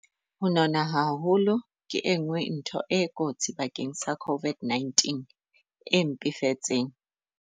Ho nona haholo ke enngwe ntho e kotsi bakeng sa COVID-19 e mpefetseng.